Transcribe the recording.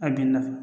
A binna